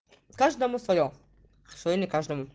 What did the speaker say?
каждому своё своё не каждому